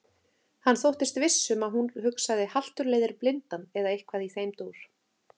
Hann þóttist viss um að hún hugsaði haltur leiðir blindan eða eitthvað í þeim dúr.